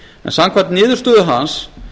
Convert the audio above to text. samkvæmt niðurstöðu hans